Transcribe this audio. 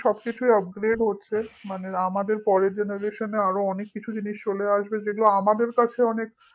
সবকিছুই upgrade হচ্ছে মানে আমাদের পরের generation এ অনেক কিছু জিনিস চলে আসবে যেগুলো আমাদের কাছে অনেক